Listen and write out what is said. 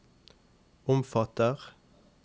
omfatter